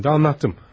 Mən də danışdım.